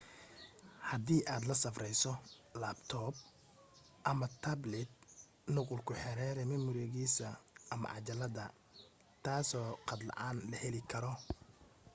hadii aad la safrayso laabtoob ama taablit nuqul ku xeree mimorigiisa ama cajalada taasoo khad la’aan la heli karo